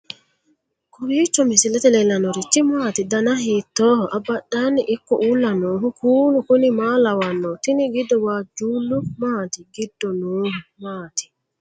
kowiicho misilete leellanorichi maati ? dana hiittooho ?abadhhenni ikko uulla noohu kuulu kuni maa lawannoho? tini giddo waajjuullu maati giddo noohu maati